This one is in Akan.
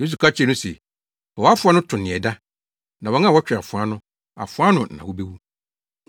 Yesu ka kyerɛɛ no se, “Fa wʼafoa no to nea ɛda. Na wɔn a wɔtwe afoa no, afoa ano na wobewu.